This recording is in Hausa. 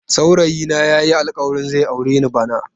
Saurayi na yayi alkawarin zai aure ni bana.